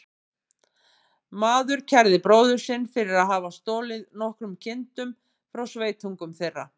Maður kærði bróður sinn fyrir að hafa stolið nokkrum kindum frá sveitungum þeirra.